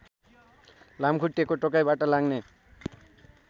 लामखुट्टेको टोकाइबाट लाग्ने